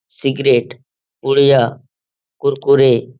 cigarette पुड़िया कुरकुरे --